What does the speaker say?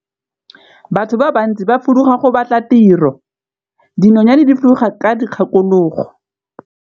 Batho ba bantsi ba fuduga go batla tiro, dinonyane di fuduga ka dikgakologo.